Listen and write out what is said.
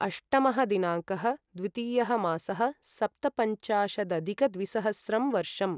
अष्टमः दिनाङ्कः द्वितीयः मासः सप्तपञ्चाशदधिकद्विसहस्रं वर्षम्